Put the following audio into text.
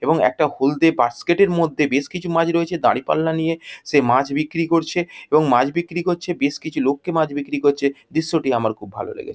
এবং একটা হলদে বাস্কেট এর মধ্যে বেশ কিছু মাছ রয়েছে। দাঁড়িপাল্লা নিয়ে সে মাছ বিক্রি করছে এবং মাছ বিক্রি করছে বেশ কিছু লোককে মাছ বিক্রি করছে। দৃশ্যটি আমার খুব ভালো লেগেছে ।